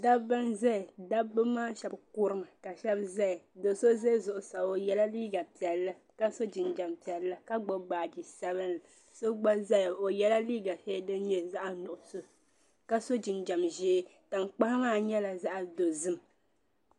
Dabba n ʒɛya dabba maa shab kurimi ka shab ʒɛya do so ʒɛ zuɣusaa o yɛla liiga piɛlli ka so jinjɛm piɛlli ka gbubi baaji sabinli so gba ʒɛya o yɛla liiga shɛli din nyɛ zaɣ nuɣso ka so jinjɛm ʒiɛ tankpaɣu maa nyɛla zaɣ dozim